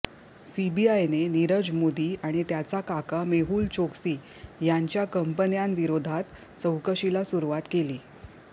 सीबीआयने नीरज मोदी आणि त्याचा काका मेहूल चोक्सी यांच्या कंपन्यांविरोधात चौकशीला सुरुवात केली आहे